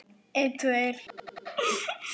Góða nótt, góða nótt.